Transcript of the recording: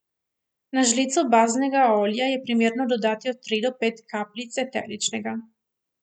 Na žlico baznega olja je primerno dodati od tri do pet kapljic eteričnega.